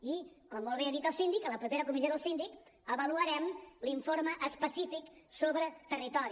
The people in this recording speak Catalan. i com molt bé ha dit el síndic a la propera comissió del síndic avaluarem l’informe específic sobre territori